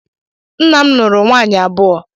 Nna m nụrụ nwaanyị abụọ